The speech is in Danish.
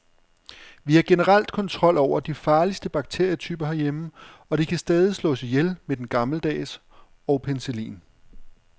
Vi har generelt kontrol over de farligste bakterietyper herhjemme, og de kan stadig slås ihjel med den gammeldags og penicillin.